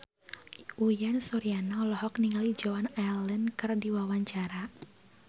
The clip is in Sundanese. Uyan Suryana olohok ningali Joan Allen keur diwawancara